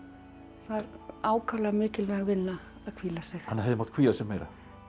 það er ákaflega mikilvæg vinna að hvíla sig hann hefði mátt hvíla sig meira